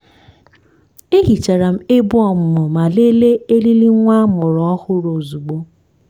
e hicharam ebe ọmụmụ ma lelee eriri nwa amụrụ ọhụrụ ozugbo.